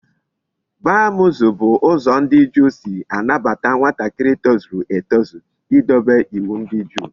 Bar mitzvah bu uzo ndi Juu si anabata nwatakiri tozuru etozu I dobe iwu ndi juu